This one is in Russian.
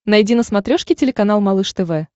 найди на смотрешке телеканал малыш тв